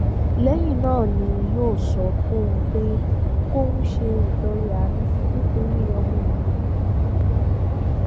lẹyìn náà ni yóò sọ fóun pé kóun ṣe ìtọrẹ àánú nítorí ọmọ òun yìí